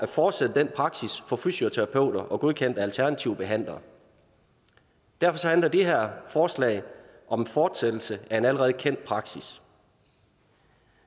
fortsætte den praksis for fysioterapeuter og godkendte alternative behandlere derfor handler det her forslag om fortsættelse af en allerede kendt praksis